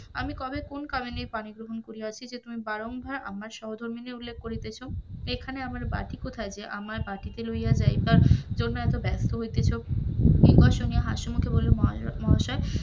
আমি কবে কোন কামিনীর পানি গ্রহন করিয়াছি যে বারংবার আমার সহ ধর্মিনী উল্লেখ করিতেছ, এইখানে আমার বাতি কোথায় যে আমার বাটিতে লইয়া যাইবার জন্য এত ব্যস্ত হইতেছ, এই ভাষন শুনিয়া হাসি মুখে বলিল মহাশয়,